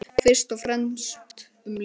Fyrst og fremst um líf.